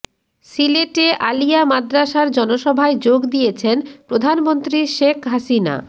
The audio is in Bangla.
সিলেটে আলিয়া মাদ্রাসার জনসভায় যোগ দিয়েছেন প্রধানমন্ত্রী শেখ হাসিনা